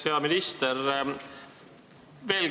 Hea minister!